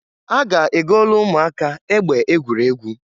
A ga-egolu umuaka egbe egwuregwu.